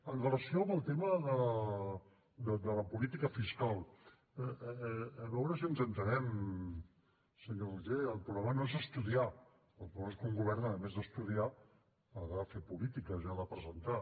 en relació amb el tema de la política fiscal a veure si ens entenem senyor roger el problema no és estudiar el problema és que un govern a més d’estudiar ha de fer polítiques i ha de presentar